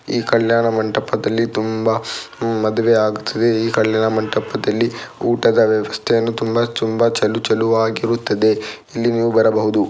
ಈ ಕಲ್ಯಾಣಮಂಟಪದಲ್ಲಿ ತುಂಬಾ ಮದುವೆ ಆಗುತ್ತಿದೆ ಈ ಕಲ್ಯಾಣಮಂಟಪದಲ್ಲಿ ಊಟದ ವ್ಯವಸ್ಥೆಯನ್ನುತುಂಬಾ ತುಂಬಾ ಚಲು_ಚಲುವಾಗಿರುತ್ತದೆ ಇಲ್ಲಿ ನೀವು ಬರಬಹುದು .